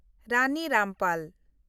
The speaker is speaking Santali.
ᱨᱟᱱᱤ ᱨᱟᱢᱯᱟᱞ